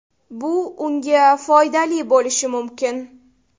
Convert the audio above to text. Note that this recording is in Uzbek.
Bu unga foydali bo‘lishi mumkin.